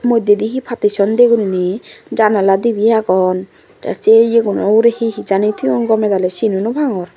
moddey di he partition di guriney janala dibry agon tey sey iyo guno ugurey he he jani thoyun gomey daley sino naw parongor.